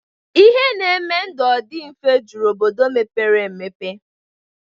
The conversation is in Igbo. Ihe na-eme ndụ ọ dị mfe jụrụ n'obodo mepere emepe